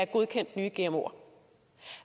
godkendt nye gmoer